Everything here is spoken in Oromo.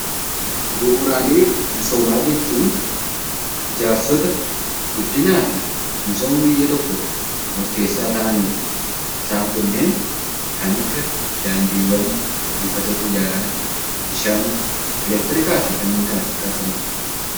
Bu'uuraalee misoomaa jechuun ijaarsota guddinaa fi misooma biyya tokkoof murteessoo ta'anidha. Isaan kun kan akka daandiiwwan, buufata xiyyaaraa, bishaan, elektiriikaa fi kanneen kana fakkaatanidha.